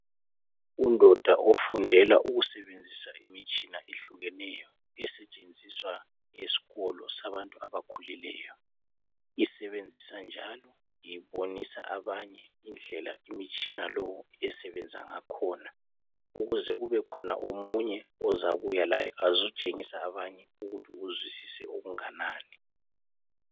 Undoda ofundela ukusebenzisa imitshina ehlukeneyo esetshenziswa esikolo sabantu abakhulileyo isebenzisa njalo ibonisa abanye indlela imitshina lo esebenza ngakhona ukuze kubekhona omunye ozabuya laye ezotshengisa abanye ukuthi uzwisise okunganani.